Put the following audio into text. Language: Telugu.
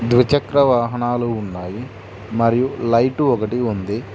ద్విచక్ర వాహనాలు ఉన్నాయి మరియు లైటు ఒకటి ఉంది.